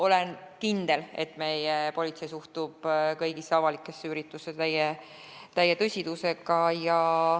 Olen kindel, et meie politsei suhtub kõigisse avalikesse üritustesse täie tõsidusega.